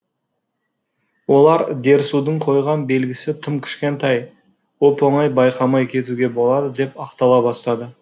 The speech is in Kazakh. олар дерсудың қойған белгісі тым кішкентай оп оңай байқамай кетуге болады деп ақтала бастады